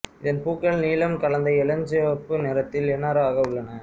இதன் பூக்கள் நீலம் கலந்த இளஞ்சிவப்பு நிறத்தில் இணராக உள்ளன